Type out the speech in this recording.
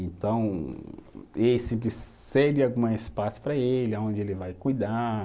Então, sempre cede algum espaço para ele, aonde ele vai cuidar.